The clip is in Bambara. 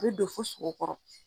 bɛ don fo sogo kɔrɔ.